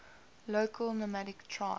local nomadic tribes